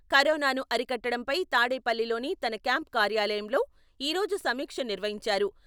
కరోనాను అరికట్టడంపై తాడేపల్లిలోని తన క్యాంప్ కార్యాలయంలో ఈ రోజు సమీక్ష నిర్వహించారు.